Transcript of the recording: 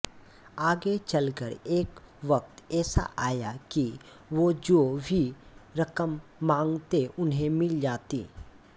आगे चलकर एक वक़्त ऐसा आया कि वो जो भी रकम मांगते उन्हें मिल जाती